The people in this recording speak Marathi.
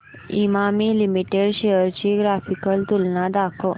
इमामी लिमिटेड शेअर्स ची ग्राफिकल तुलना दाखव